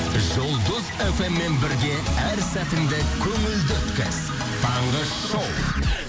жұлдыз фммен бірге әр сәтіңді көңілді өткіз таңғы шоу